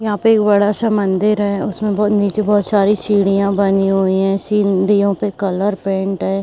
यहाँ पे एक बड़ा सा मंदीर हैं। उसमे बहोत नीचे बहोत सारी सीढ़ियाँ बनी हुई हैं। सीढ़ियों पे कलर पेंट है।